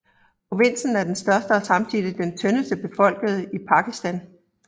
Provinsen er den største og samtidig den tyndest befolkede i Pakistan